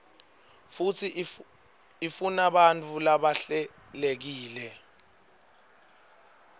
futsi ifunabantfu labahlelekile